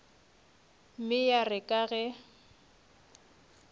mme ya re ka ge